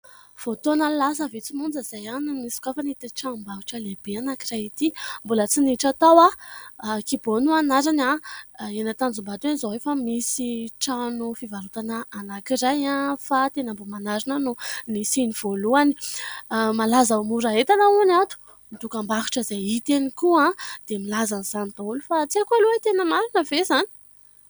Vao taona lasa vitsy monja izay no nisokafan'ity tranombarotra lehibe anankiray ity, mbola tsy niditra tao aho, KIBO no anarany. Eny Tanjombato eny izao efa misy trano fivarotana anakiray fa teny Ambohimanarina no nisiny voalohany, malaza mora entana hono ato, dokambarotra izay hita eny koa dia milaza an'izany daholo fa tsy haiko aloha hoe tena marina ve izany ?